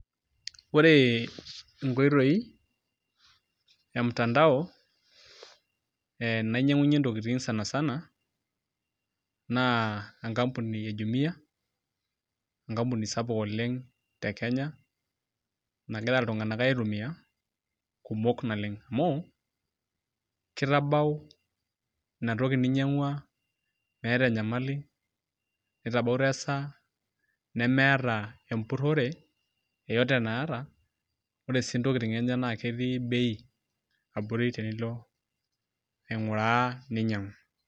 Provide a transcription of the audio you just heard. Ore nkoitoi e mtandao e nainyanyunyie ntokitin sanisana na enkampini e jumia, enkapuni sapuk oleng te kenya, nagira ltunganak aitumia kumok oleng amu kitabau inatoki ninyangua meeta enyamali, nitabau esaa nemeeta empurore yotote naata ore si ntokitin enyenak na ketii bei abori tenilo ainguraa ninyangu.